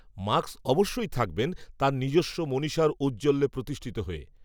Marx অবশ্যই থাকবেন, তাঁর নিজস্ব মনীষার ঔজ্জ্বল্যে প্রতিষ্ঠিত হয়ে